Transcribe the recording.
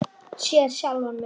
Sé sjálfan mig.